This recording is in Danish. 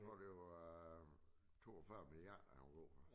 Må det være 42 milliarder han er god for